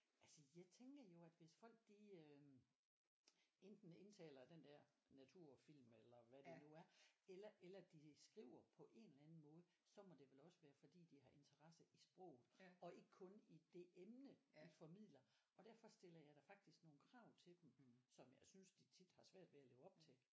Altså jeg tænker jo at hvis folk de øh enten indtaler den der naturfilm eller hvad det nu er eller eller de skriver på en eller anden måde så må det vel også være fordi de har interesse i sproget og ikke kun i det emne de formidler og derfor stiller jeg da faktisk nogle krav til dem som jeg synes de tit har svært ved at leve op til